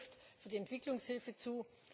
Das Gleiche trifft auf die Entwicklungshilfe zu.